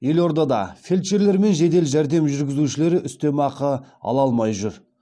елордада фельдшерлер мен жедел жәрдем жүргізушілері үстемақы ала алмай жүр